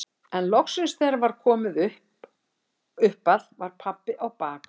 En loksins þegar það var komið upp að var pabbi á bak og burt.